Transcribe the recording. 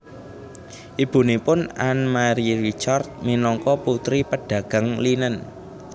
Ibunipun Anne Marie Ricard minangka putri pedagang linen